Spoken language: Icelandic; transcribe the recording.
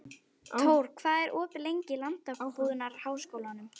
Tór, hvað er opið lengi í Landbúnaðarháskólanum?